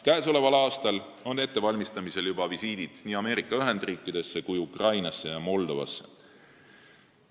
Käesoleval aastal valmistame juba ette visiite nii Ameerika Ühendriikidesse, Ukrainasse kui ka Moldovasse.